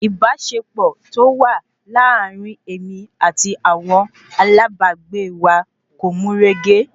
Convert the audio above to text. Ìbáṣepọ̀ tí ó wà láàrin èmi àti àwọn alábàágbé wa kò mú régé